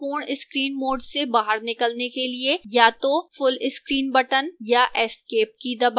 पूर्ण screen mode से बाहर निकलने के लिए या तो full screen button या escape की दबाएं